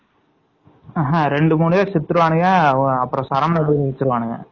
ரெண்டு பேரும் சுட்ருவாங்க.